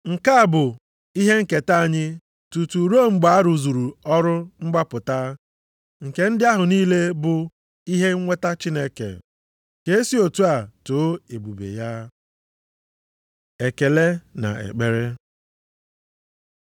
Nke a bụ ihe nketa anyị tutu ruo mgbe a rụzuru ọrụ mgbapụta nke ndị ahụ niile bụ ihe nweta Chineke. Ka e si otu a too ebube ya. Ekele na ekpere